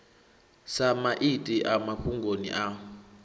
sa maiti a mafhungoni a